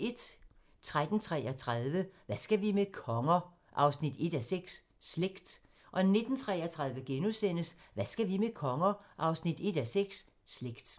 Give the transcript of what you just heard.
13:33: Hvad skal vi med konger? 1:6 – Slægt 19:33: Hvad skal vi med konger? 1:6 – Slægt *